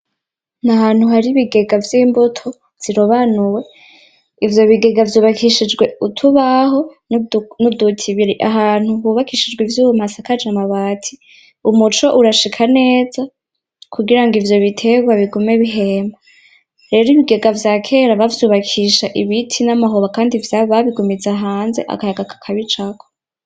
Ahantu hari ibigega vy'imbuto zirobanuwe ivyo bigega vyubakishijwe utubaho n'uduti biri ahantu hubakishijwe ivyuma hasakajwe amabati umuco urashika neza kugira ngo ivyo bitegwa bigume bihema rero ibigega vya kera bavyubakisha ibiti n'amahoba kandi babigumiza hanze akayaga kakabicako.